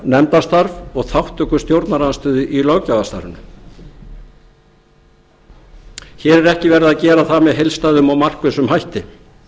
nefndarstörf og þátttöku stjórnarandstöðu í löggjafarstarfinu hér er ekki verið að gera það með heildstæðum og markvissum hætti